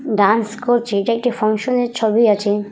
Dance করছে এটি একটি ফ্যাংশানের ছবি আছে ।